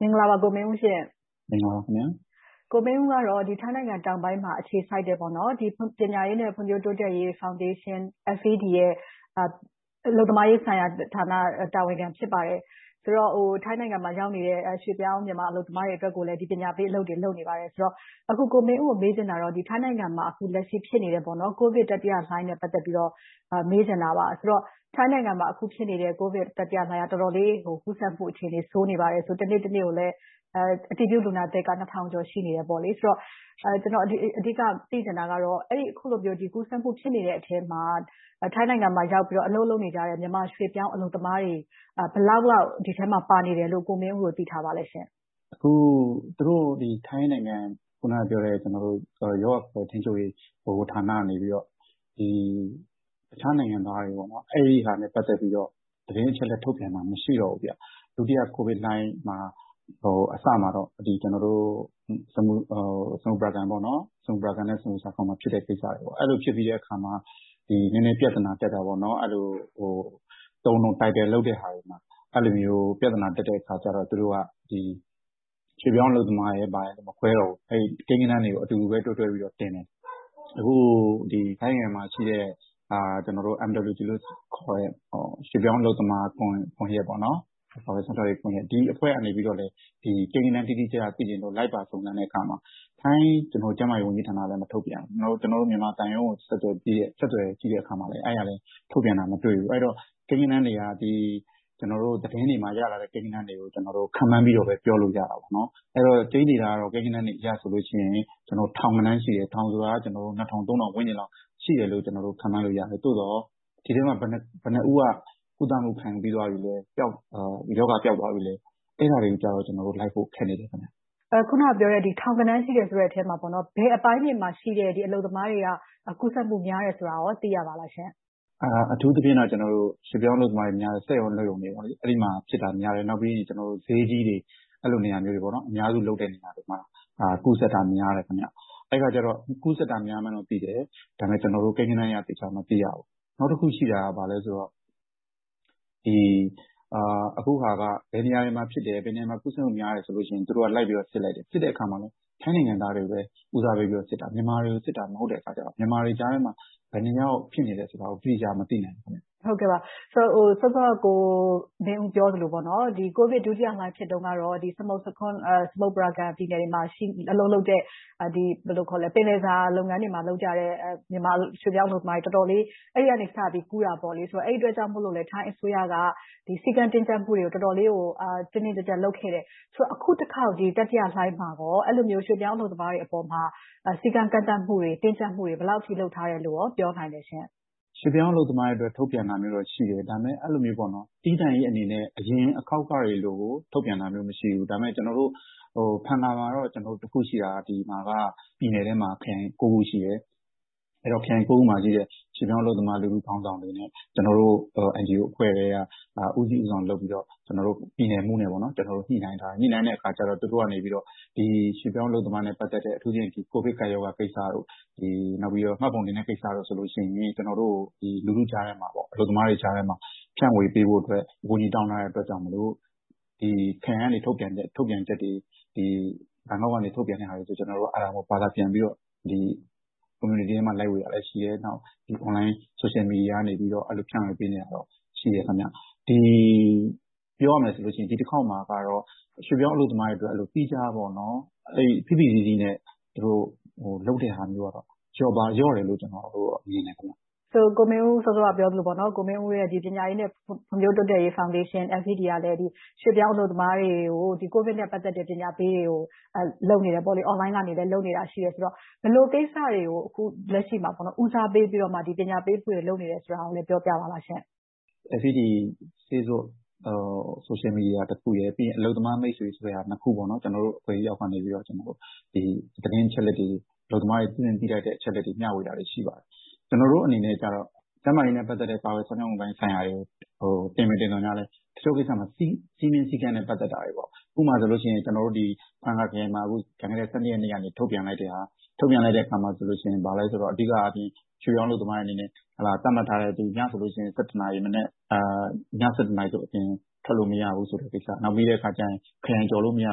မင်္ဂလာပါ ကိုမင်းဦးရှင့်။ ကိုမင်းဦးက ထိုင်းနိုင်ငံတောင်ပိုင်းမှာ အခြေစိုက်တဲ့ ပညာရေးနဲ့ ဖွံ့ဖြိုးတိုးတက်ရေးဖောင်ဒေးရှင်း ရဲ့ အလုပ်သမားရေးရာဌာနရဲ့ တာဝန်ခံ ဖြစ်ပါတယ်။ ဆိုတော့ ထိုင်းနိုင်ငံမှာရောက်နေတဲ့ ရွှေ့ပြောင်းအလုပ်သမားတွေကိုလည်း ပညာပေးအလုပ်တွေ လုပ်နေပါတယ်ဆိုတော့ အခု ကိုမင်းဦးကို မေးချင်တာက လက်ရှိ ထိုင်းနိုင်ငံမှာ ဖြစ်နေတဲ့ ကိုဗစ်တတိယလှိုင်းနဲ့ ပတ်သက်ပြီးတော့ မေးချင်တာပါ။ ဆိုတော့ ထိုင်းနိုင်ငံမှာ အခုဖြစ်နေတဲ့ တတိယလှိုင်းက တော်တော်လေး ကူးစက်မှုအခြေအနေ ဆိုးနေပါတယ်။ တနေ့တနေ့ကိုလဲ အတည်ပြုလူနာသစ်က ထောင်ကျော်ရှိနေတယ်ဆိုတော့ ကျနော် အဓိကသိချင်တာကတော့ အခုလိုမျိုး ကူးစက်မှု ရှိနေတဲ့အထဲမှာ ထိုင်းနိုင်ငံမှာ ရောက်နေပြီးတော့ အလုပ်လုပ်နေကြတဲ့ မြန်မာရွှေ့ပြောင်းအလုပ်သမားတွေ ဘယ်လောက်လောက် ဒီထဲမှာပါနေတယ်လို့ ကိုမင်းဦးတို့ သိထားပါလဲရှင့်။ ဖြေ ။ ။ မင်္ဂလာပါ။ ထိုင်းနိုင်ငံ ရောဂါကာကွယ်ထိန်းချုပ်ရေး ဗဟိုဌာနကနေ အခြားနိုင်ငံသားတွေ၊ အဲဒီဟာနဲ့ ပတ်သက်ပြီးတော့ သတင်းအချက်အလက် ထုတ်ပြန်တာ မရှိတော့ဘူး။ ဒုတိယကိုဗစ်လှိုင်း အစမှာတော့ ကျနော်တို့ စမွတ်ပလာကန် နဲ့ စမွတ်ဆာခေါင်တွေမှာ ဖြစ်တဲ့ကိစ္စရပ်တွေပေါ့။ အဲဒီလိုဖြစ်ပြီးတဲအခါမှာ နည်းနည်းပြဿနာတတ်တာက အဲဒီလို အသုံးအနှုန်း၊ တိုင်းတည်လုပ်တဲ့ဟာတွေမှာ ပြဿနာတက်တဲ့အခါကြတော့ သူတို့က ရွှေ့ပြောင်းအလုပ်သမား၊ ဘာညာမခွဲတော့ဘူး။ ကိန်းကဏန်းတွေကို အတူတူတွဲပြီးတော့ တင်တယ်။ အခု ထိုင်းနိုင်ငံမှာရှိတဲ့ Migrant Workers Rights Network ခေါ်တဲ့ ရွှေ့ပြောင်းအလုပ်သမားကွန်ရက်ကနေ ကိန်းကဏန်း တိတိကျကျ လိုက်ပါစုံစမ်းတဲ့အခါမှာ ထိုင်းကျန်းမာရေးဝန်ကြီးဌာနကလည်း မထုတ်ပြန်ဘူး။ နောက် မြန်မာသံရုံးကို ဆက်သွယ်ကြည့်တဲ့အခါမှာလဲ အဲဒီကနေ ထုတ်ပြန်တာလဲ မတွေ့ရဘူး။ အဲဒီတော့ ကိန်းကဏန်းတွေက သတင်းတွေမှာ ရလာတဲ့ ကိန်းကဏန်းတွေကိုပဲ ခန့်မှန်းပြီတော့ပဲ ပြောလို့ရပါတယ်။ အဲဒီတော့ ကျိန်းသေတာကတော့ ကိန်းကဏန်းတွေအရဆိုရင် ထောင်ကဏန်းရှိတယ်။ ထောင်ဆိုတာက နှစ်ထောင်သုံးထောင် ဝန်းကျင်လောက် ရှိတယ်လို့ ကျနော်တို့ ခန့်မှန်းလို့ရတယ်။ သို့သော် ဒီထဲမှာ ဘယ်နှစ်ဦးက ကုသမှု ခံယူပြီးသွားပြီ။ ရောဂါပျောက်သွားပြီလဲ။ အဲဒါတွေကို ကျနော်တို့ လိုက်ဖို့ ခက်နေတယ်။ မေး ။ ။ အခုနပြောတဲ့ ထောင်ကဏန်းရှိတယ်ဆိုတဲ့ ပြောဆိုချက်မှာ ဘယ်အပိုင်းတွေမှာ ရှိတဲ့ အလုပ်သမားတွေက ကူးစက်မှု များတယ်ဆိုတာကို သိရပါလားရှင့်။ ဖြေ ။ ။ အထူးသဖြင့်တော့ ရွှေ့ပြောင်အလုပ်သမားတွေများတဲ့ စက်ရုံ၊ အလုပ်ရုံတွေမှာ ဖြစ်တာများတယ်။ နောက်ပြီး ဈေးကြီးတွေ၊ အဲဒီလိုနေရာမျိုးတွေ အများစုလုပ်တဲ့ နေရာတွေမှာ ကူးစက်တာများတယ်။ အဲဒီအခါကြတော့ ကူးစက်တာများမှန်း သိတယ်။ ဒါပေမဲ့ ကျနော်တို့ ကိန်းကဏန်းအရေ သေချာမသိရဘူး။ နောက်တခုရှိတာက ဘာလဲဆိုတော့ အခုဟာက ဘယ်နေရာမှာဖြစ်တယ်။ ဘယ်နေရာမှာ ကူးစက်မှုများတယ် ဆိုလို့ရှိရင် သူတို့က လိုက်ပြီးတော့ စစ်လိုက်တယ်။ စစ်တဲ့အခါမှာ ထိုင်းနိုင်ငံသားတွေကိုပဲ ဦးစားပေးပြီးစစ်တာ။ မြန်မာတွေကိုစစ်တာ မဟုတ်တဲ့အခါကြတော့ မြန်မာတွေကြားထဲမှာ ဘယ်နှစ်ယောက် ဖြစ်နေတယ်ဆိုတာကို တိတိကျကျ မသိနိုင်ဘူး။ မေး ။ ။ စောစောက ကိုမင်းဦး ပြောသလို၊ ကိုဗစ်ဒုတိယလှိုင်း ဖြစ်တုန်းကတော့ စမုပရာကန်မြို့တွေမှာ အလုပ်လုပ်ကြတဲ့ ပင်လယ်စာ လုပ်ငန်းတွေမှာ လုပ်ကြတဲ့ မြန်မာရွှေ့ပြောင်းအလုပ်သမားတွေ တော်တော်လေး ဖြစ်ခဲ့တယ်။ အဲဒီကနေစပြီး ကူးစက်တာပေါ့။ အဲဒီအတွက်ကြောင့် ထိုင်းအစိုးရက စည်းကပ်တင်းကြပ်မှုတွေကို တော်တော်လေး တင်းတင်းကြပ်ကြပ် လုပ်ခဲ့တယ်။ ဆိုတော့ အခုတခေါက် တတိယလှိုင်းမှာ အဲဒီလို ရွှေ့ပြောင်းအလုပ်သမားတွေအပေါ်မှာ စည်းကမ်းကန့်သတ်မှုတွေ၊ တင်းကြပ်မှုတွေ ဘယ်လောက်အထိ လုပ်ထားတယ်လို့ ပြောနိုင်လဲရှင့်။ ဖြေ ။ ။ ရွှေ့ပြောင်းအလုပ်သမားတွေအတွက်ဆိုပြီး ထုတ်ပြန်တာမျိုး ရှိတယ်။ ဒါပေမဲ့ အဲဒီလိုမျိုး သီးသန့်ကြီးအနေနဲ့ အရင်ခေါက်တွေမျိုး ထုတ်ပြန်တာမျိုး မရှိဘူး။ ဒါပေမဲ့ ကျနော်တို့ ဖန်ငမှာတော့ ကျနော်တို့ ရှိတာက ပြန်နယ်ထဲမှာ ခရိုင် ကိုးခု။ အဲဒီခရိုင် ကိုးခုမှာပဲ ရွှေ့ပြောင်းအလုပ်သမား လူထုခေါင်းဆောင်တွေနဲ့ ကျနော်တို့ NGO အဖွဲ့ထဲက ဦးစီးဦးဆောင်လုပ်ပြီးတော့ ပြည်နယ်မှူးနဲ့ ကျနော်တို့ ညှိနှိုင်းကြတယ်။ ညှိနှိုင်းတဲ့အခါမှာ သူတို့က ရွှေ့ပြောင်းအလုပ်သမားနဲ့ ပတ်သက်တဲ့ - အထူးသဖြင့် ကိုဗစ်ကပ်ရောဂါကိစ္စ။ နောက် မှတ်ပုံတင်တဲ့ ကိစ္စတို့ဆိုရင် ကျနော်တို့ လူထုကြားထဲမှာ၊ အလုပ်သမားတွေကြားထဲမှာ ဖြန့်ဝေပေးဖို့အတွက် အကူအညီတောင်းထားတဲ့ အတွက်ကြောင့်မို့ ခရိုင်ကနေ ထုတ်ပြန်းချက်တွေ၊ ခရိုင်ကနေ ထုတ်ပြန်ချက်တွေ၊ ဘန်ကောက်ကနေ ထုတ်ပြန်တာတွေကို ကျနော်တို့က ဘာသာပြန်ပြီးတော့ ကွန်မြူနီတီထဲမှာ လိုက်ဝေတာတွေ ရှိတယ်။ နောက် အွန်လိုင်းဆိုရှယ်မီဒီယာကနေ ဖြန့်ဝေပေးနေတာတွေ ရှိပါတယ်။ ပြောရမယ်ဆိုရင် ဒီတခေါက်မှာတော့ ရွှေ့ပြောင်းအလုပ်သမားတွေအတွက် သီးခြား၊ ဖိဖိစီးစီးနဲ့ လုပ်တဲ့ဟာမျိုးကတော့ လျော့ပါးသွားတယ်လို့ ကျနော်တို့က မြင်ပါတယ်။ မေး ။ ။ ကိုမင်းဦး စောစောကပြောသလို ပညာရေးနဲ့ ဖွံ့ဖြိုးတိုးတက်ရေး ဖောင်ဒေးရှင်း ကလည်း ရွှေ့ပြောင်းအလုပ်သမားတွေကို ကိုဗစ်နဲ့ ပတ်သက်တဲ့ ပညာပေးတွေကို လုပ်ပေးနေတယ်။ အွန်လိုင်းကနေလည်း လုပ်နေတယ်ဆိုတော့ ဘယ်လိုကိစ္စတွေကို လက်ရှိမှာ ဦးစားပေးပြီးတော့ ပညာပေးမှုတွေ လုပ်နေတယ်ဆိုတာကိုလဲ ပြောပြပါလားရှင့်။ ဖြေ ။ ။ FED Facebook Social Media တခုရယ်၊ ပြီးတော့ အလုပ်သမားမိတ်ဆွေတို့ အဖွဲ့အစည်းတွေက သတင်းအချက်အလက်တွေ၊ အလုပ်သမားတွေ သိသင့်သိထိုက်တဲ့ အချက်အလက်တွေကို မျှဝေတာတွေ ရှိပါတယ်။ ကျနော်တို့အနေနဲ့ ကျန်းမာရေးနဲ့ ပတ်သက်တဲ့ ကာကွယ်စောင့်ရှောက်မှုပိုင်းဆိုင်ရာတွေကို တင်ပေတင်သော်ငြားလဲ တချို့ကိစ္စတွေမှာ စည်းမျဉ်းစည်းကမ်းနဲ့ ပတ်သက်တာတွေ။ ဥပမာဆိုရင် ကျနော်တို့ ဖန်ငခရိုင်မှာ ကျန်ခဲ့တဲ့ ရက်နေ့က ထုတ်ပြန်လိုက်တာ အဓိကအားဖြင့် ရွှေ့ပြောင်းအလုပ်သမားတွေအနေနဲ့ သတ်မှတ်ထားတဲ့ ညဆိုရင် နာရီ အပြင်ထွက်လို့ မရဘူးဆိုတဲ့ကိစ္စ။ နောက်ပြီးတော့ ခရိုင်ကျော်လို့ မရ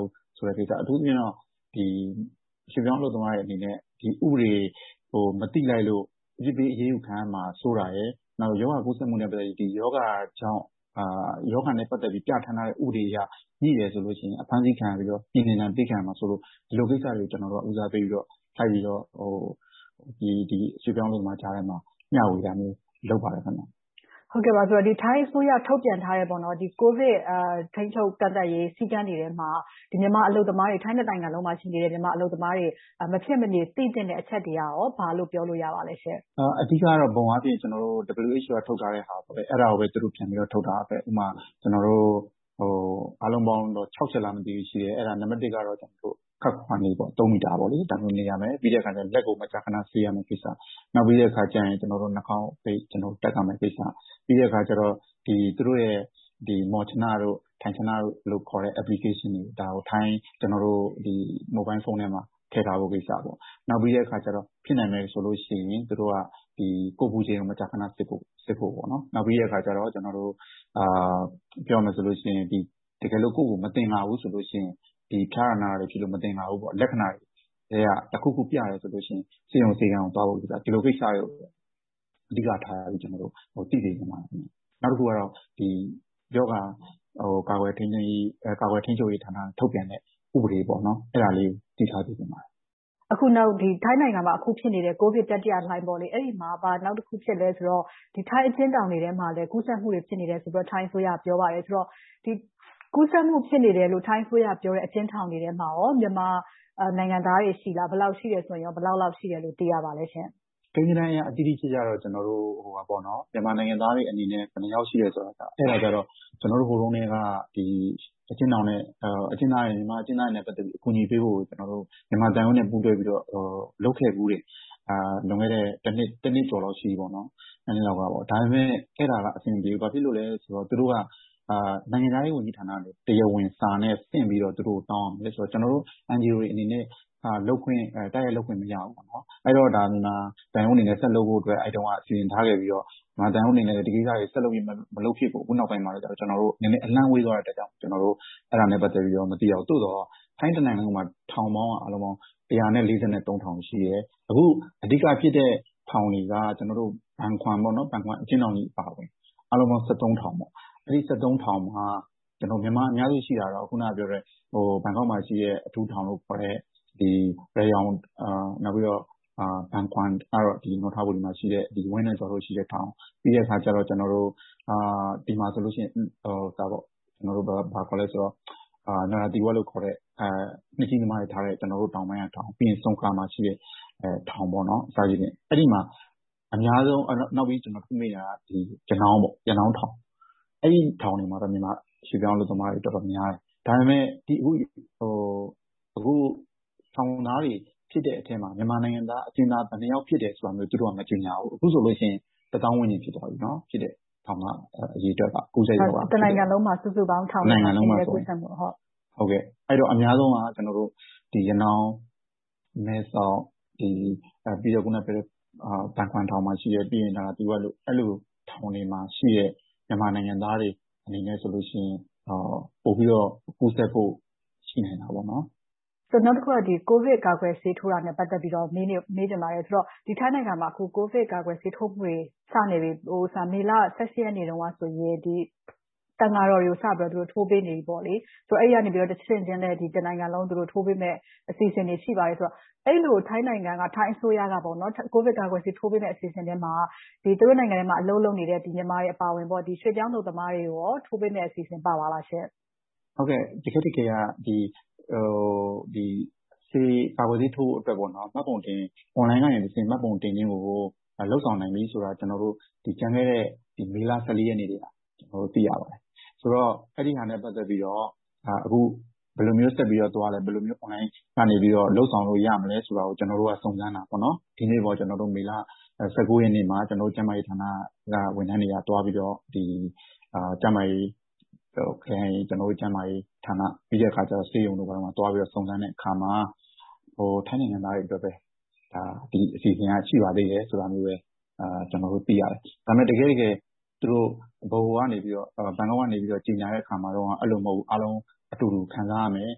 ဘူးဆိုတဲ့ကိစ္စ။ အထူးသဖြင့်တော့ ရွှေ့ပြောင်းအလုပ်သမားတွေအနေနဲ့ ဥပဒေတွေကို မသိလိုက်လို့ အပြစ်ပေးအရေးယူခံရမှာ စိုးရိမ်တာရယ်။ နောက်ရောဂါကူးစက်မှုနဲ့ ပတ်သက်ပြီး ရောဂါကြောင့် ရောဂါနဲ့ ပတ်သက်ပြီး ပြဌာန်းထားတဲ့ ဥပဒေအရ ငြိ့တယ်ဆိုရင် အဖမ်းအဆီး ခံရပြီးတော့၊ ပြည်နှင်ဒဏ်ပေးခံရမှာစတဲ့ ဒီလိုကိစ္စရပ်တွေကို ကျနော်တို့တွေက ဦးစားပေးပြီးတော့၊ လုပ်ပြီးတော့ ရွှေ့ပြောင်းအလုပ်သမားတွေကြားထဲမှာ မျှဝေမှုတွေ လုပ်ပေးပါတယ်။ မေး ။ ။ ထိုင်းအစိုးရ ထုတ်ပြန်ထားတဲ့ ကိုဗစ်ထိန်းချုပ်ကန့်သတ်ရေး စည်းကမ်းတွေမှာ မြန်မာအလုပ်သမားတွေ၊ ထိုင်းတနိုင်ငံလုံးမှာ ရှိနေတဲ့ မြန်မာအလုပ်သမားတွေ မဖြစ်မနေ သိသင့်တဲ့ အချက်တွေက ဘာလို့ပြောလို့ရပါသလဲရှင့်။ ဖြေ ။ ။ အဓိကအားဖြင့် WHO က ထုတ်ပြန်ထားတာကိုပဲ သူတို့ပြန်ပြီးတော့ ထုတ်ပြန်တာပဲ။ အားလုံးပေါင်းတော့ ခြောက်ချက်လား ရှိတယ်။ နံပတ်တစ်ကတော့ ခပ်ခွာခွာနေပေါ့။ သုံးမီတာ နေရမယ်။ လက်ကို မကြာခဏ ဆေးရမယ့်ကိစ္စ။ နောက်ပြီးတော့ နှားခေါင်းစည်းဝတ်ထားရမယ့်ကိစ္စ။ ပြီးတော့ သူတို့ရဲ့ မောချနတို့ ထန်ချနတို့ခေါ်တဲ့ Application တွေကို မိုဘိုင်လ်ဖုန်းထဲမှာ ထည့်ထားဖို့ကိစ္စ။ နောက်ပြီးတော့ ဖြစ်နိုင်မယ်ဆိုရင် ကိုယ်အပူချိန်ကို မကြာခဏစစ်ဖို့။ နောက်ပြီးတော့ တကယ်လို့ ကိုယ့်ကိုယ်ကို မသင်္ကာဘူးဆိုရင် ဖျားနာမှုကို မသင်္ကာဘူး၊ လက္ခဏာထဲက တခုခုကို ပြတယ်ဆိုရင် ဆေးရုံဆေးခန်းကို သွားဖို့ကိစ္စ။ ဒီလိုကိစ္စတွေကို အဓိကထားပြီးတော့ သိစေချင်ပါတယ်။ နောက်တခုကတော့ ရောဂါကာကွယ်ထိန်းသိမ်းရေး၊ ကာကွယ်ထိန်းချုပ်ရေးက ထုတ်ပြန်တဲ့ ဥပဒေလေးကို သိထားစေချင်ပါတယ်။ မေး ။ ။ အခု ထိုင်းနိုင်ငံမှာ ဖြစ်နေတဲ့ ကိုဗစ်တတိယလှိုင်းမှာ နောက်တခု ဘာဖြစ်လဲဆိုတော့ ထိုင်းအကျဉ်းထောင်တွေထဲမှာ ကူးစက်မှုတွေ ဖြစ်နေတယ်ဆိုပြီးတော့ ထိုင်းအစိုးရက ပြောပါတယ်။ ဒီကူးစက်မှု ဖြစ်နေတယ်လို့ ထိုင်းအစိုးရပြောနေတဲ့ အကျဉ်းထောင်တွေထဲမှာ မြန်မာနိုင်ငံသားတွေ ရှိလား။ ရှိတယ်ဆိုရင် ဘယ်လောက်လောက် ရှိတယ်လို့ သိရပါသလဲရှင့်။ ဖြေ ။ ။ ကိန်းဂဏန်းအရတော့ တိတိကျကျ မြန်မာနိုင်ငံသားတွေအနေနဲ့ ဘယ်လောက်ရှိတယ်ဆိုတာကတော့ ဟိုတုန်းထဲက မြန်မာအကျဉ်းသားတွေနဲ့ ပတ်သက်ပြီး အကူအညီပေးဖို့ မြန်မာသံရုံးနဲ့ ပူးတွဲပြီးတော့ လုပ်ခဲ့ဖူးတယ်။ လွန်ခဲ့တဲ့ နှစ်ကျော်လောက်က ရှိပြီ။ နှစ်လောက်က။ ဒါပေမဲ့ အဲဒါအဆင်မပြေဘူး။ ဘာဖြစ်လို့လဲဆိုတော့ သူတို့က နိုင်ငံခြားရေးဝန်ကြီးဌာနကနေ တရားဝင်စာနဲ့ဆင့်ပြီးတော့ တောင်းရမယ်ဆိုတော့ ကျနော်တို့ NGO တွေအနေနဲ့ တိုက်ရိုက်လုပ်ခွင့် မရဘူး။ အဲဒီတော့ မြန်မာသံရုံးအနေနဲ့ ဆက်လုပ်ဖို့အတွက် စီစဉ်ထားခဲ့ပေမယ့် မြန်မာသံရုံးအနေနဲ့ ဒီကိစ္စတွေကို ဆက်မလုပ်ဖြစ်ခဲ့တဲ့အတွက် ကျနော်တို့ အလှမ်းဝေးသွားတဲ့အတွက် အဲဒါနဲ့ ပတ်သက်ပြီးတော့ မသိရဘူး။ သို့သော် ထိုင်းတနိုင်ငံလုံးမှာ ထောင်ပေါင်းက ထောင် ရှိတယ်။ အခု အဓိကဖြစ်တဲ့ ထောင်တွေက ဘန်ခွမ်အကျဉ်းထောင်ကြီးအပါအဝင် အားလုံး ထောင်။ အဲဒီထောင်တွေမှာ မြန်မာအများစုရှိတာကတော့ ဘန်ကောက်မှာရှိတဲ့ အထူးထောင်လို့ခေါ်တဲ့ ရရောင်၊ ဘန်ခွမ်ကတော့ နွန်ထပူရီမှာရှိတဲ့ ဝင်းနိုင်ဇော်တို့ရှိတဲ့ ထောင်။ ပြီးတော့ ဒီမှာဆိုရင်တော့ နရသီဝပ်လို့ခေါ်တဲ့ နှစ်ကြီးသမားတွေထားတဲ့ တောင်ပိုင်းကထောင်။ နောက် ဆုန်ခလာမှာရှိတဲ့ထောင် အစရှိသဖြင့် အဲဒီမှာ အများဆုံးရှိပြီးနောက် ရနောင်းထောင်။ အဲဒီထောင်တွေမှာတော့ မြန်မာရွှေ့ပြောင်းအလုပ်သမားတွေ တော်တော်များများ ရှိတယ်။ ဒါပေမဲ့ အခုထောင်သားတွေ ဖြစ်တဲ့အထဲမှာ မြန်မာနိုင်ငံသား အကျဉ်းသား ဘယ်နှစ်ယောက်ဖြစ်တယ်ဆိုတာမျိုး သူတို့က မကြေညာဘူး။ အခုဆိုရင် တစ်သောင်းဝန်းကျင် ဖြစ်သွားပြီ။ အရေအတွက် ကိုးဆယ်ရာခိုင်နှုန်း။ တနိုင်ငံလုံးမှာ။ အများဆုံးကတော့ ရနောင်၊ မဲ့ဆောက်၊ ဘန်ခွမ်၊ နရာသီဝပ်ထောင်တွေမှာ ရှိတဲ့ မြန်မာနိုင်ငံသားတွေအနေနဲ့ ပိုပြီးတော့ ကူးစက်ဖို့ ရှိနိုင်တယ်။ မေး ။ ။ နောက်တခုက ကိုဗစ်ကာကွယ်ဆေး ထိုးတာနဲ့ ပတ်သက်ပြီးတော့ မေးချင်ပါတယ်။ ထိုင်းနိုင်ငံမှာ ကိုဗစ်ကာကွယ်ဆေး ထိုးမှုတွေ မေလ ရက်နေ့တုန်းကဆိုရင် သံဃာတော်တွေကို စပြီးတော့ ထိုးပေးနေပြီ။ အဲဒီကနေ တဆင့်ချင်း တနိုင်ငံလုံးကို ထိုးပေးမယ့် အစီအစဉ်တွေ ရှိတယ်ဆိုတော့ အဲဒီလို ထိုင်းနိုင်ငံက ထိုင်းအစိုးရက ကိုဗစ်ကာကွယ်ဆေး ထိုးပေမယ့် အစီအစဉ်ထဲမှာ သူတို့နိုင်ငံထဲမှာ အလုပ်လုပ်နေတဲ့ မြန်မာတွေအပါအဝင် ရွှေ့ပြောင်းအလုပ်သမားတွေကို ထိုးပေးမယ့် အစီအစဉ်ပါပါသလားရှင့်။ ဖြေ ။ ။ တကယ့်တကယ်က ကာကွယ်ဆေးထိုးဖို့အတွက် အွန်လိုင်းကနေ မှတ်ပုံတင်ခြင်းကို လုပ်ဆောင်နိုင်ပြီဆိုတာကို ကျနော်တို့ ကျန်ခဲ့တဲ့ မေလ ရက်နေ့တုန်းက သိရပါတယ်။ ဆိုတော့ အဲဒီဟာနဲ့ ပတ်သက်ပြီးတော့ ဘယ်လိုမျိုးဆက်ပြီးသွားတယ်။ ဘယ်လိုမျိုး အွန်လိုင်းကနေ လုပ်ဆောင်လို့ ရမလဲဆိုတာကို ကျနော်တို့က စုံစမ်းတာ။ ဒီနေ့ မေလ ရက်နေ့မှာ ကျနော်တို့ ကျန်းမာရေးဌာနက ဝန်ထမ်းတွေက သွားပြီးတော့ ကျန်းမာရေးခရိုင်၊ ကျန်းမာရေးဌာန၊ ဆေးရုံတို့ကို သွားရောက်စုံစမ်းတဲ့အခါမှာ ထိုင်းနိုင်ငံသားတွေအတွက်ပဲ ဒီအစီအစဉ်က ရှိပါသေးတယ်ဆိုတာမျိုးပဲ ကျနော်တို့ သိရတယ်။ တကယ်တမ်း တကယ့်တကယ် ဗဟိုကနေ ဘန်ကောက်က ကြေညာတုန်းက အဲဒီလိုမဟုတ်ဘူး၊ အားလုံးအတူတူ ခံစားရမယ်